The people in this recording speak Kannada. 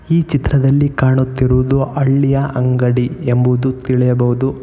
ಈ ಚಿತ್ರದಲ್ಲಿ ಕಾಣುತ್ತಿರುವುದು ಹಳ್ಳಿಯ ಅಂಗಡಿ ಎಂಬುವುದು ತಿಳಿಯಬಹುದು.